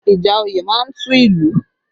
Ìjà òye má ń tú ìlú